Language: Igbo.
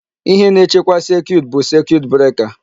Ihe na-echekwa circuit bụ circuit breaker.